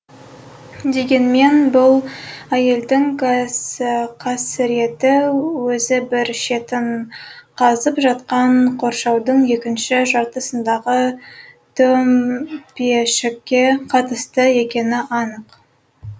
дегенмен бұл әйелдің қасіреті өзі бір шетін қазып жатқан қоршаудың екінші жартысындағы төмпешікке қатысты екені анық